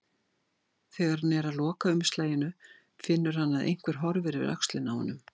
Þegar hann er að loka umslaginu finnur hann að einhver horfir yfir öxlina á honum.